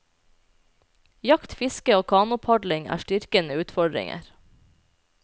Jakt, fiske og kanopadling er styrkende utfordringer.